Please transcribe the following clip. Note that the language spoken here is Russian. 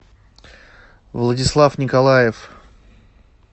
владислав николаев